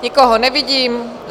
Nikoho nevidím.